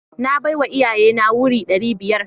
Na bawa iyaye na wuri ɗari biyar.